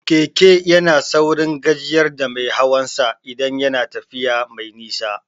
Keke yana saurin gajiyar da mai hawan sa idan yana tafiya mai nisa